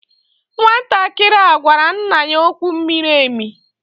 Nwantakịrị a gwara nna ya okwu miri emi.